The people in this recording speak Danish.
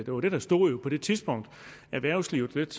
jo det der stod på det tidspunkt erhvervslivet lidt